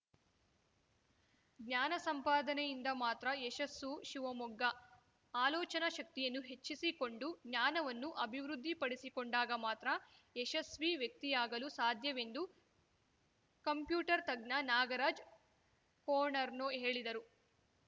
ಜ್ಞಾನ ಸಂಪಾದನೆಯಿಂದ ಮಾತ್ರ ಯಶಸ್ಸು ಶಿವಮೊಗ್ಗ ಆಲೋಚನಾ ಶಕ್ತಿಯನ್ನು ಹೆಚ್ಚಿಸಿಕೊಂಡು ಜ್ಞಾನವನ್ನು ಅಭಿವೃದ್ಧಿಪಡಿಸಿಕೊಂಡಾಗ ಮಾತ್ರ ಯಶಸ್ವಿ ವ್ಯಕ್ತಿಯಾಗಲು ಸಾಧ್ಯವೆಂದು ಕಂಪ್ಯೂಟರ್‌ ತಜ್ಞ ನಾಗರಾಜ್‌ ಕೋಣರ್ನೂ ಹೇಳಿದರು